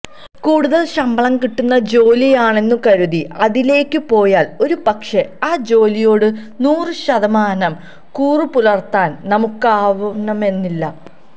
കൂടുതല് ശമ്പളം കിട്ടുന്ന ജോലിയാണെന്നു കരുതി അതിലേക്കു പോയാല് ഒരുപക്ഷേ ആ ജോലിയോടു നൂറു ശതമാനം കൂറുപുലര്ത്താന് നമുക്കാവണമെന്നില്ല